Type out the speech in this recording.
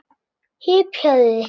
Hypjaðu þig.